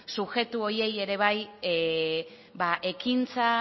subjektu horiei ere bai ekintza